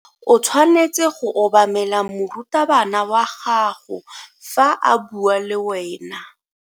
O tshwanetse go obamela morutabana wa gago fa a bua le wena.